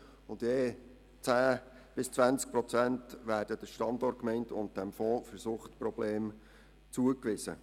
Je 10 bis 20 Prozent werden der Standortgemeinde und dem Fonds für Suchtprobleme zugewiesen.